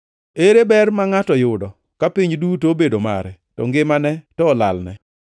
Ere ber ma ngʼato yudo ka piny duto obedo mare to ngimane to olalne?